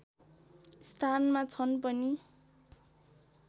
स्थानमा छन् पनि